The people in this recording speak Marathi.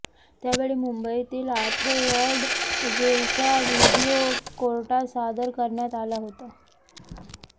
त्यावेळी मुंबईतील आर्थर रोड जेलचा व्हिडीओ कोर्टात सादर करण्यात आला होता